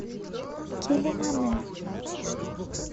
келимане